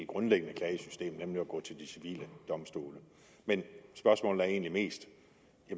grundlæggende klagesystem nemlig at gå til de civile domstole men spørgsmålet er egentlig mest